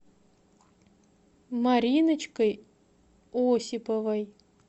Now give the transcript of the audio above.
мариночкой осиповой